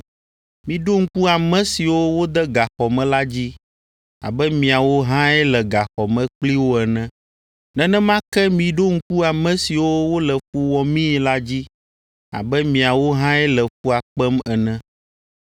Miɖo ŋku ame siwo wode gaxɔ me la dzi abe miawo hãe le gaxɔ me kpli wo ene. Nenema ke miɖo ŋku ame siwo wole fu wɔmii la dzi abe miawo hãe le fua kpem ene.